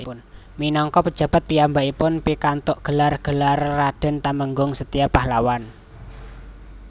Minangka pejabat piyambakipun pikantuk gelar Gelar Raden Temenggung Setia Pahlawan